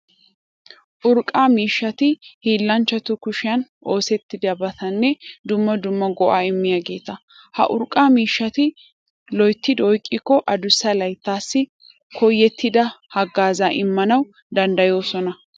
Urqqa miishshati hiillanchchatu kushiyan oosettiyabatanne dumma dumma go"aa immiyageeta. Ha urqqa miishshati loyttidi oyqqikko adussa layttaassi koyettida haggaazaa immanawu danddayoosona.